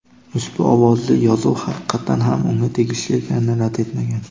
ushbu ovozli yozuv haqiqatan ham unga tegishli ekanini rad etmagan.